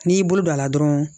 N'i y'i bolo don a la dɔrɔn